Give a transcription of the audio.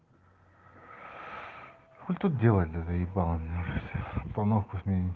хули тут делать заебало меня все обстановку смени